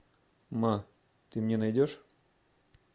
ма ты мне найдешь